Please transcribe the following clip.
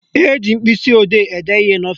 Eji mkpịsịodee ede ihe n'ọfịsi